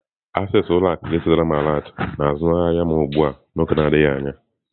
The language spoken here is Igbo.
Access ụlọ akụ ga-ezitere m alert na azụmahịa m ugbu a n'oge adịghị anya.